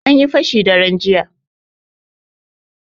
Anyi fashi daren jiya.